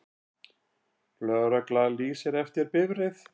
Lögregla lýsir eftir bifreið